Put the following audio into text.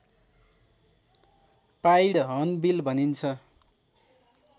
pied hornbill भनिन्छ